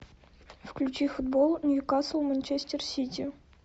включи футбол ньюкасл манчестер сити